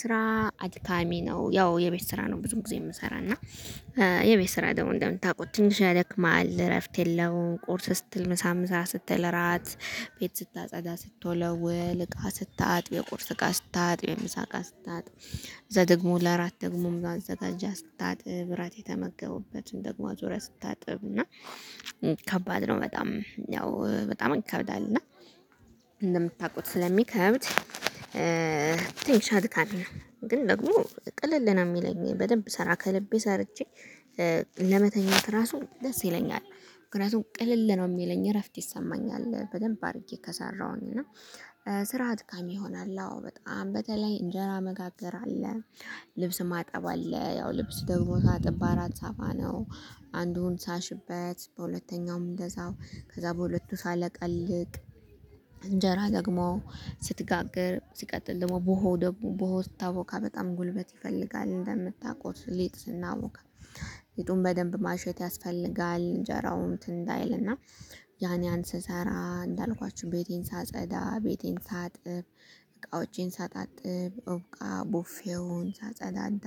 ስራ አድካሚ ነው ያው የቤት ስራ ነው ብዙ ጊዜ የምሰራው እና የቤት ስራ ደግሞ እንደምታውቁት ትንሽ ያደክማል እረፍት የለውም። ቁርስ ስትል ምሳ ምሳ ስትል እራት ቤት ስታጸዳ ስትወለውል እቃ ስታጥብ የቁርስ እቃ ስታጥብ የምሳቃ ስትታጥብ። ከዛ ደግሞ ለአራት ደግሞ ማዘጋጃ ስታጥብ እራት የተመገቡበትን ደግሞ አዙረህ ስታጥብ እና ከባድ ነው በጣም ያው በጣም ይከብዳለን። እና እንደምታውቁት ስለሚከብድ ቲንሽ አድካሚ ነው። ግን ደግሞ ቅለል ነው የሚለኝ በደንብ ሰራ ከልቤ ሰርቼ ለመተኛት ራሱ ደስ ይለኛል። ምክንያቱም ቅልል ነው የሚለኝ እረፍት ይሰማኛል በደንብ አድርጌ ከሰራሁኝ። እና ስርዓት አድካሚ ይሆናል። አዎ በጣም በተለይ እንጀራ መጋገር አለ። ልብስ ማጠብ አለ ያው ልብስ ደግሞ ሳጥብ በአራት ሳፋ ነው። አንዱን ሳሽበት በሁለተኛውም እንደዛው ከዛ በሁለቱ ሳለቀልቅ። እንጀራ ደግሞ ስትጋግር ሲቀጥል ደግሞ ቡሆ ደግሞ ቡሆው ስታቦካ በጣም ጉልበት ይፈልጋል። እንደምታውቁት ሊጥ ስናቦካ ሊጡን በደንብ ማሸት ያስፈልጋል። እንጀራው እንትን እንዳይልና ያን ያን ስሰራ እንዳልኳችሁ ቤቴን ሳጸዳ ቤቴን ሳጥብ። እቃዎቼን ሳጣጥብ እቃ ቡፊዉን ሳጸዳዳ።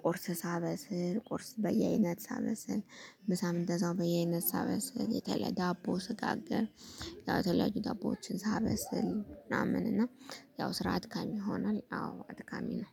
ቁርስ ሳበስል ቁርስ በየአይነት ሳበስል። ምሳ እንደዛው በየአይነት ሳበስል የተለየ ዳቦ ስጋገር። ያው ተለያዩ ዳቦዎችን ሳበስል ምናምን እና ያው ስራ አድካሚ ይሆናል። አዎ አድካሚ ነው